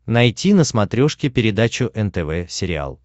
найти на смотрешке передачу нтв сериал